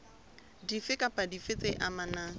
dife kapa dife tse amanang